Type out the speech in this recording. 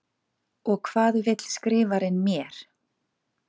Og hvað vill Skrifarinn mér?